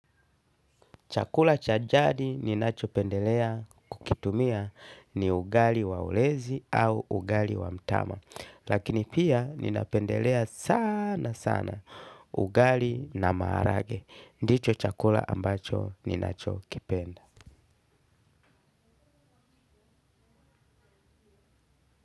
Chakula chajadi ninacho pendelea kukitumia ni ugali wa ulezi au ugali wa mtama. Lakini pia ninapendelea sana sana ugali na maharage. Ndicho chakula ambacho ninacho kipenda.